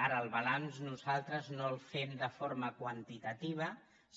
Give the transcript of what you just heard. ara el balanç nosaltres no el fem de forma quantitativa